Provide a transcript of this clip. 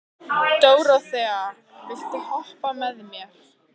Dóróþea, viltu hoppa með mér?